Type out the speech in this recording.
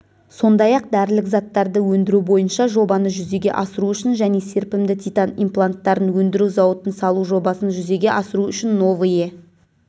сондай-ақ дәрілік заттарды өндіру бойынша жобаны жүзеге асыру үшін және серпімді титан импланттарын өндіру зауытын салу жобасын жүзеге асыру үшін новые